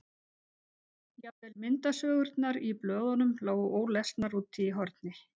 Jafnvel myndasögurnar í blöðunum lágu ólesnar úti í horni.